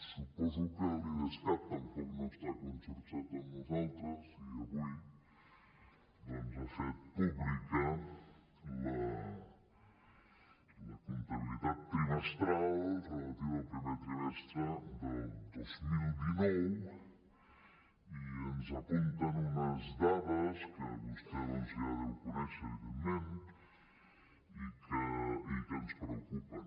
suposo que l’idescat tampoc no està conxorxat amb nosaltres i avui doncs ha fet pública la comptabilitat trimestral relativa al primer trimestre del dos mil dinou i ens apunten unes dades que vostè doncs ja deu conèixer evidentment i que ens preocupen